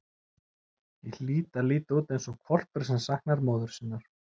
Ég hlýt að líta út eins og hvolpur sem saknar móður sinnar.